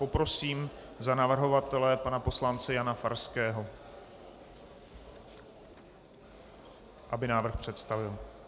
Poprosím za navrhovatele pana poslance Jana Farského, aby návrh představil.